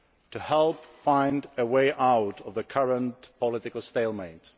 to help find a way out of the current political stalemate.